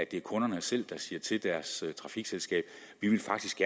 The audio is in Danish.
det er kunderne selv der siger til deres trafikselskab at de faktisk